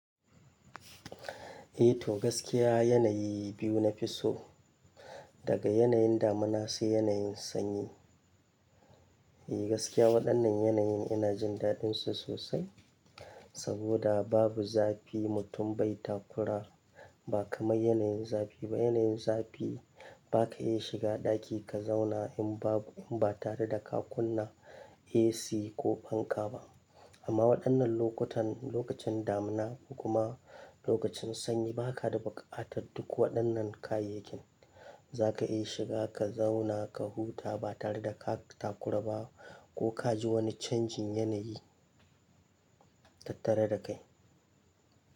Eh to gaskiya yanayi biyu na fi so, daga yanayin damuna sai yanayin sanyi. Eh gaskiya waɗannan yanayin ina jin daɗinsu sosai, saboda babu zafi mutum bai takura ba kamar yanayin zafi ba. Yanayin zafi ba ka iya shiga ɗaki ka zauna in babu, in ba tare da ka kunna AC ko fanka ba. Amma waɗannan lokutan, lokacin damina kuma lokacin sanyi ba ka da buƙatar duk waɗannan kayayyakin. Za ka iya shiga ka zauna ka huta ba tare da ka takura ba ko ka ji wani canjin yanayi tattare da kai.